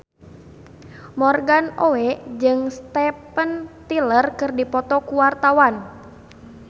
Morgan Oey jeung Steven Tyler keur dipoto ku wartawan